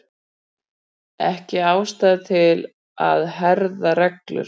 Ekki ástæða til að herða reglur